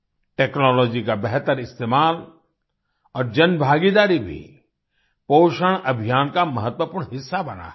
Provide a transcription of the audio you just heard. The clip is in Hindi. टेक्नोलॉजी का बेहतर इस्तेमाल और जनभागीदारी भी पोषण अभियान का महत्वपूर्ण हिस्सा बना है